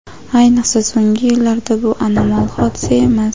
ayniqsa so‘nggi yillarda bu anomal hodisa emas.